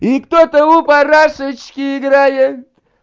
и кто-то у парашечки играет